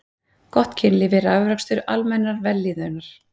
Gott kynlíf er afrakstur almennrar vellíðunar.